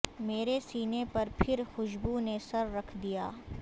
میرے سینے پر پھر خوشبو نے سر رکھ دیا